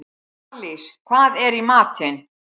Marlís, hvað er í matinn?